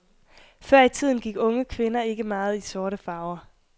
Før i tiden gik unge kvinder ikke meget i sorte farver.